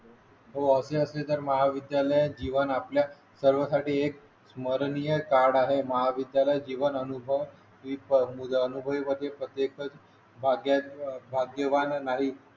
हो असे असले तर महाविद्यालयाची जीवन आपल्या सर्वांसाठी एक अविस्मरणीय कार्ड आहे महाविद्यालय जीवन अनुभव भाग्यवान नाही